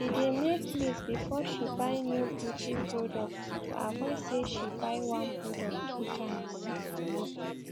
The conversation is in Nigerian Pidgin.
she dae make list before she buy new beauty products to avoid say she buy one product two times